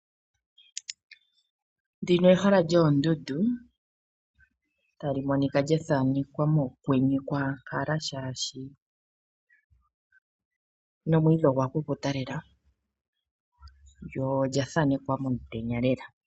Ndino ehala lyoondundu, ta li Monika lya thanekwa mokwenye kwaankala shaashi, nomwiidhi ogwa kukuta lela lyo olya thanekwa momutenya lela.